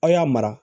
Aw y'a mara